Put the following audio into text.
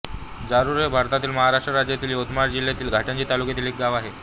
जारूर हे भारतातील महाराष्ट्र राज्यातील यवतमाळ जिल्ह्यातील घाटंजी तालुक्यातील एक गाव आहे